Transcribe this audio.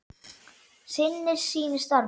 Sinnir sínu starfi.